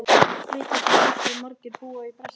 Vitið þið hversu margir búa í Brasilíu?